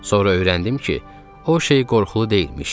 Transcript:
Sonra öyrəndim ki, o şey qorxulu deyilmiş.